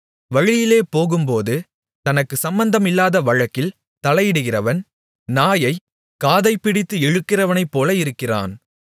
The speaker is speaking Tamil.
வழியிலே போகும்போது தனக்கு சம்மந்தமில்லாத வழக்கில் தலையிடுகிறவன் நாயைக் காதைப் பிடித்து இழுக்கிறவனைப்போல இருக்கிறான்